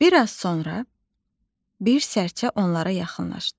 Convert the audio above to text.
Bir az sonra bir sərçə onlara yaxınlaşdı.